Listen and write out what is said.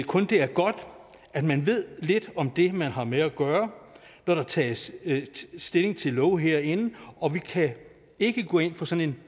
kun det er godt at man ved lidt om det man har med at gøre når der tages stilling til love herinde og vi kan ikke gå ind for sådan